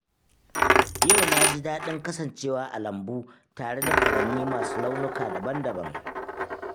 Yau na ji daɗin kasancewa a lambu tare da furanni masu launuka daban-daban.